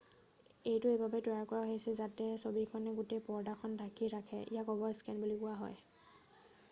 এইটো এইবাবেই তৈয়াৰ কৰা হৈছে যাতে ছবিখনে গোটেই পৰ্দাখন ঢাকি ধৰে ইয়াক অভাৰস্কেন বুলি কোৱা হয়